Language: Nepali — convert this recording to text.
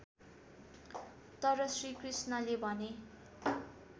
तर श्रीकृष्णले भने